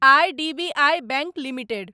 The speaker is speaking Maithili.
IDBI bank limited